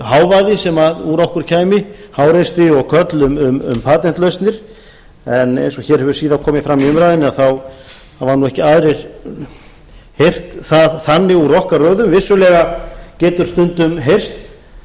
hávaði sem úr okkur kæmi háreisti og köll um patentlausnir en eins og hér hefur síðan komið fram í umræðunni hafa nú ekki aðrir heyrt það þannig úr okkar röðum vissulega getur stundum heyrst